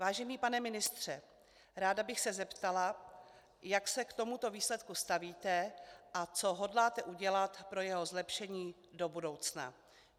Vážený pane ministře, ráda bych se zeptala, jak se k tomuto výsledku stavíte a co hodláte udělat pro jeho zlepšení do budoucna.